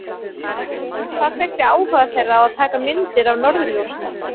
En hvað kveikti áhuga þeirra á að taka myndir af norðurljósum?